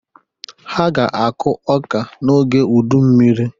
Ha ga-akụ ọ́kà n'oge udummiri.